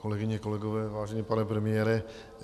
Kolegyně, kolegové, vážený pane premiére.